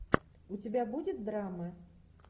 у тебя будет драмы